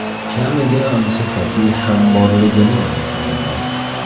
Kamiga Ansu Fati ham borligini unutmaymiz.